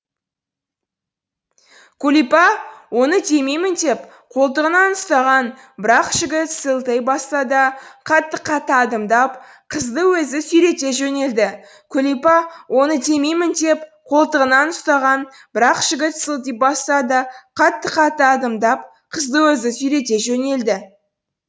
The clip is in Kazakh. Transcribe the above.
күлипа оны демеймін деп қолтығынан ұстаған бірақ жігіт сылти басса да қатты қатты адымдап қызды өзі сүйрете жөнелді күлипа оны демеймін деп қолтығынан ұстаған бірақ жігіт сылти басса да қатты қатты адымдап қызды өзі сүйрете жөнелді